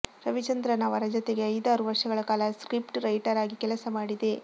ರವಿಚಂದ್ರನ್ ಅವರ ಜತೆಗೆ ಐದಾರು ವರ್ಷಗಳ ಕಾಲ ಸ್ಕ್ರಿಪ್ಟ್ ರೈಟರ್ ಆಗಿ ಕೆಲಸ ಮಾಡಿದೆ